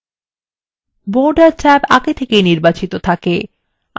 border tab আগে থেকেই নির্বাচিত থাকে